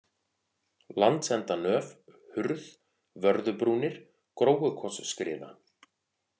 Landsendanöf, Hurð, Vörðubrúnir, Gróukotsskriða